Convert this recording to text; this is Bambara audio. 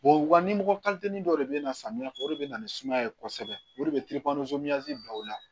waani mɔgɔ dɔ de bɛ na samiya fɛ o de bɛ na ni sumaya ye kosɛbɛ o de bɛ bila u la